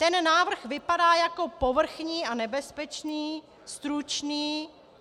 Ten návrh vypadá jako povrchní a nebezpečný, stručný.